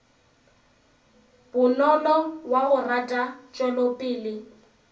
bonolo wa go rata tšwelopele